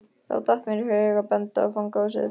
Þá datt mér í hug að benda á fangahúsið.